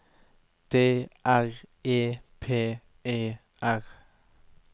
D R E P E R